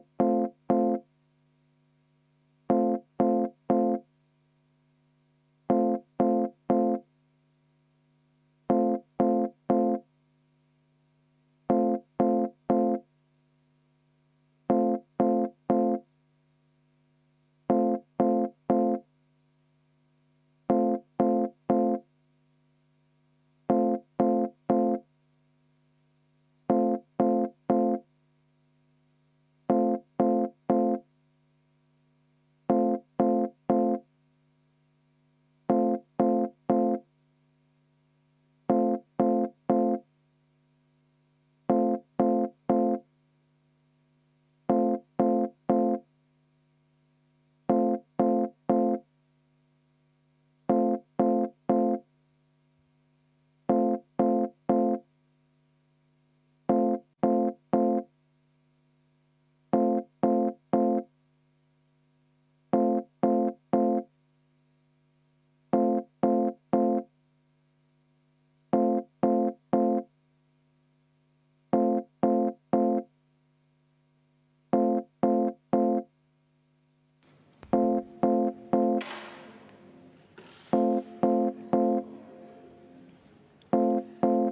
V a h e a e g